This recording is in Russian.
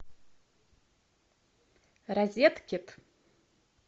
розеткед